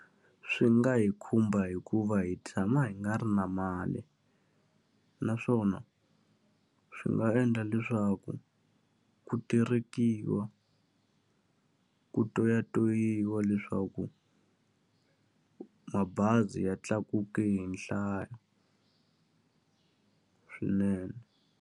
Swi nga hi khumba hikuva hi tshama hi nga ri na mali, naswona swi nga endla leswaku ku terekiwa, ku toyatoyiwa leswaku mabazi ya tlakuke hi nhlayo swinene.